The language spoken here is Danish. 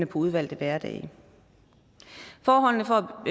på udvalgte hverdage forholdene for